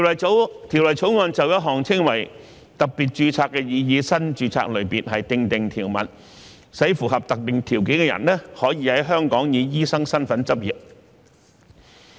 《條例草案》就一項稱為特別註冊的擬議新註冊類別，訂定條文，使符合特定條件的人可在香港以醫生身份執業。